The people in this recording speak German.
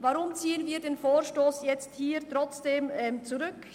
Weshalb ziehen wir den Vorstoss trotzdem zurück?